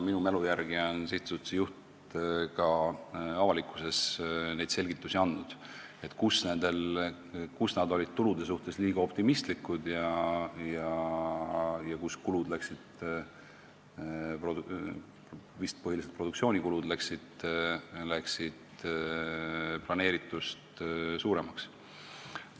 Minu mälu järgi on sihtasutuse juht ka avalikkuse ees selgitusi andnud, et kus nad olid tulude suhtes liiga optimistlikud ja kus kulud, vist põhiliselt produktsioonikulud, läksid planeeritust suuremaks.